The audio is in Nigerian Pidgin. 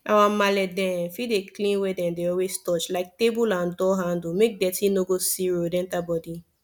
our marle dem fit dey clean where dem dey always touch like table and door handle make deti no go see road enter body